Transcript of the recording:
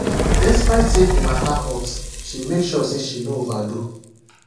despite say the matter hot she make sure say she no overdo